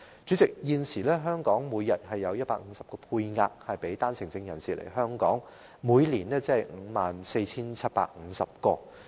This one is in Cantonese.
主席，現時香港每天有個配額給予單程證人士來港，每年合共便有 54,750 名。